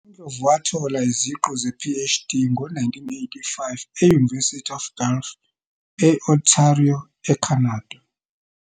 UNdlovu wathola iziqu ze-PhD ngo-1985 e-University of Guelph, e-Ontario, eCanada.